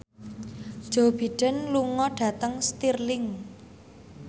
Joe Biden lunga dhateng Stirling